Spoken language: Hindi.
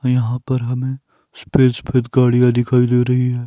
और यहां पर हमें सफेद सफेद गाड़ियां दिखाई दे रही हैं।